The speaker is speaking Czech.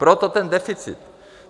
Proto ten deficit.